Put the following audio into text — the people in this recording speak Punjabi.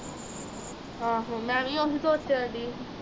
ਆਹ ਮੈਂ ਵੀ ਉਹੀ ਸੋਚਿਆ